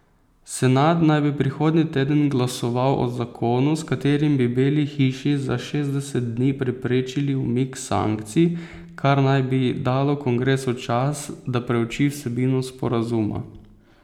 Senat naj bi prihodnji teden glasoval o zakonu, s katerim bi Beli hiši za šestdeset dni preprečili umik sankcij, kar naj bi dalo kongresu čas, da preuči vsebino sporazuma.